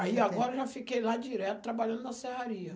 Aí agora já fiquei lá direto trabalhando na serraria.